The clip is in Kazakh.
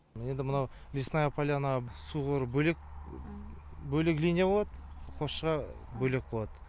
енді мынау лесная поляна су бөлек бөлек линия болады қосшыға бөлек болады